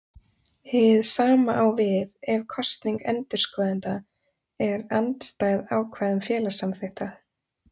Hið sama á við ef kosning endurskoðenda er andstæð ákvæðum félagssamþykkta.